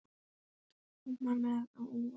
Ekkert mátti koma mér á óvart.